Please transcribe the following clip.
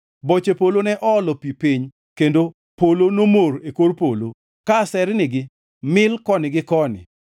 Boche polo ne oolo pi piny, kendo polo nomor e kor polo, ka asernigi mil koni gi koni.